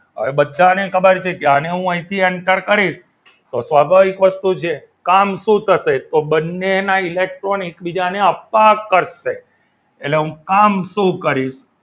તો હવે બધાને ખબર છે આને હું અહીંથી enter કરીશ તો સ્વાભાવિક વસ્તુ છે કામ શું થશે તો બંનેના ઇલેક્ટ્રોન એકબીજાને અપાકર્ષણ કરશે એટલે હું કામ શું કરીશ